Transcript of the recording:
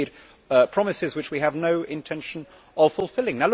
We have made promises which we have no intention of fulfilling.